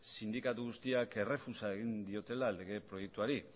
sindikatu guztiak errefusa egin diotela lege proiektuari